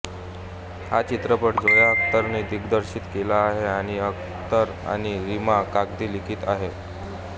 हा चित्रपट झोया अख्तरने दिग्दर्शित केला आहे आणि अख्तर आणि रीमा कागती लिखित आहे